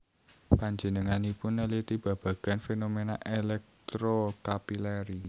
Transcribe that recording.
Panjenenganipun neliti babagan fenomena electrocapillary